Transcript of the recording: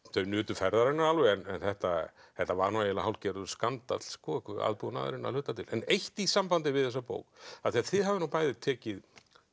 þau nutu ferðarinnar alveg en þetta þetta var nú eiginlega hálfgerður skandall aðbúnaðurinn að hluta til en eitt í sambandi við þessa bók af því þið hafið nú bæði tekið